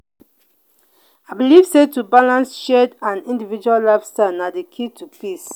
i believe sey to balance shared and individual lifestyles na di key to peace.